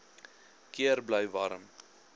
keer bly warm